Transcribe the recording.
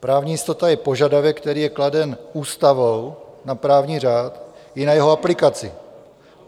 Právní jistota je požadavek, který je kladen ústavou na právní řád i na jeho aplikaci.